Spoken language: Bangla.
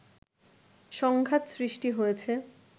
সংঘাত সৃষ্টি হয়েছে